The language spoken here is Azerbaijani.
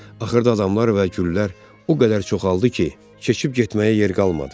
Axırda adamlar və güllər o qədər çoxaldı ki, keçib getməyə yer qalmadı.